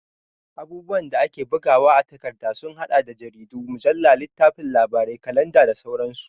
Abubuwan da ake bugawa a takarda sun haɗa da jaridu, mujalla, littafin labarai, kalanda da sauransu.